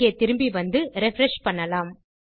இங்கே திரும்பி வந்து ரிஃப்ரெஷ் செய்யலாம்